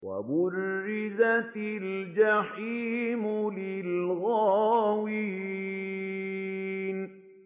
وَبُرِّزَتِ الْجَحِيمُ لِلْغَاوِينَ